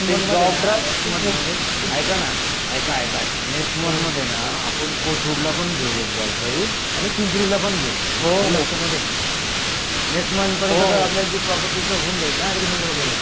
नाही नाही next month हे ना नेक्स्ट मंथमध्ये ऐकणं ऐका एका नेक्स्ट मंथमध्येना आपण कोथरूडलापण घेऊ एक जॉब ड्राईव्ह आणि पिंपरीलापण घेऊ आलं का लक्ष्यामध्ये नेक्स्ट मंथ पर्यंत आपल्याला ती प्रॉपर्टीच होऊन जाईलना अग्रीमेंट वगैरे